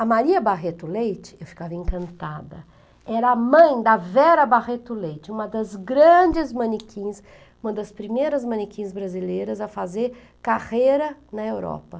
A Maria Barreto Leite, eu ficava encantada, era a mãe da Vera Barreto Leite, uma das grandes manequins, uma das primeiras manequins brasileiras a fazer carreira na Europa.